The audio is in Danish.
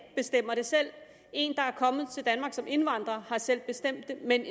bestemmer det selv en der er kommet til danmark som indvandrer har selv bestemt det men